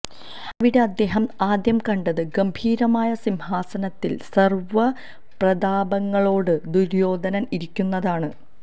അവിടെ അദ്ദേഹം ആദ്യം കണ്ടത് ഗംഭീരമായ സിംഹാസനത്തിൽ സർവപ്രതാപങ്ങളോടെ ദുര്യോധനൻ ഇരിക്കുന്നതാണ്